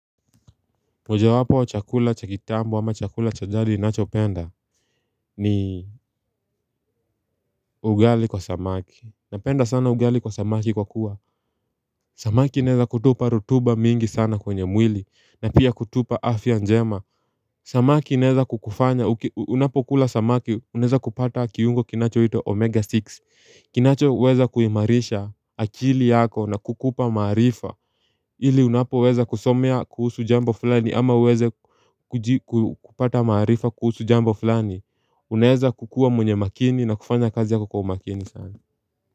Mojawapo wa chakula cha kitamb ama chakula cha jadi ninacho penda ni ugali kwa samaki Napenda sana ugali kwa samaki kwa kuwa Samaki inaeza kutupa rutuba mingi sana kwenye mwili na pia kutupa afya njema Samaki inaeza kukufanya unapokula samaki unaeza kupata kiungo kinacho itwa omega 6 kinachoweza kuimarisha akili yako na kukupa maarifa ili unapoweza kusomea kuhusu jambo fulani ama uweze kupata maarifa kuhusu jambo fulani Unaeza kukua mwenye makini na kufanya kazi yako kwa makini sana.